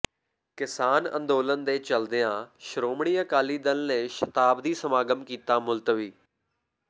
ਕਿਸਾਨ ਅੰਦੋਲਨ ਦੇ ਚੱਲਦਿਆਂ ਸ਼੍ਰੋਮਣੀ ਅਕਾਲੀ ਦਲ ਨੇ ਸ਼ਤਾਬਦੀ ਸਮਾਗਮ ਕੀਤਾ ਮੁਲਤਵੀ